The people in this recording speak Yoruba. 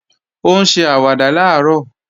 Ó ń ṣe àwàdà làárọ̀